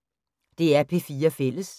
DR P4 Fælles